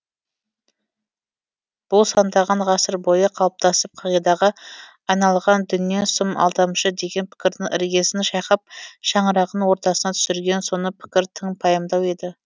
бұл сандаған ғасыр бойы қалыптасып қағидаға айналған дүние сұм алдамшы деген пікірдің іргесін шайқап шаңырағын ортасына түсірген соны пікір тың пайымдау еді